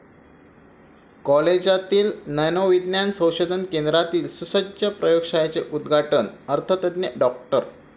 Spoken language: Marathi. कॉलेजातील नॅनो विज्ञान संशोधन केंद्रातील सुसज्ज प्रयोगशाळेचे उदघाटन अर्थतज्ज्ञ डॉ.